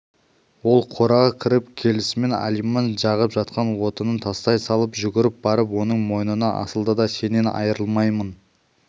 ол қораға кіріп келісімен алиман жағып жатқан отынын тастай салып жүгіріп барып оның мойнына асылды да сенен айрылмаймын